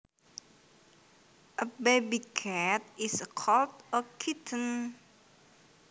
A baby cat is called a kitten